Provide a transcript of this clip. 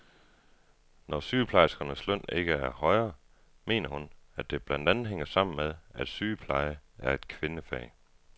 Når sygeplejerskernes løn ikke er højere, mener hun, at det blandt andet hænger sammen med, at sygepleje er et kvindefag.